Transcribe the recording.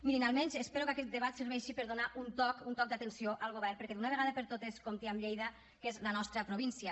mirin almenys espero que aquest debat serveixi per donar un toc un toc d’atenció al govern perquè d’una vegada per totes compti amb lleida que és la nostra província